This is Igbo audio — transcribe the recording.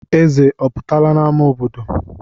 Eze ọ pụtala n'ámá obodo?